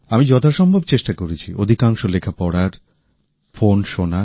আমি যথাসম্ভব চেষ্টা করেছি অধিকাংশ লেখা পড়ার ফোন শোনার